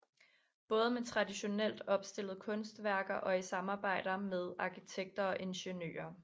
Både med traditionelt opstillede kunstværker og i samarbejder med arkitekter og ingeniører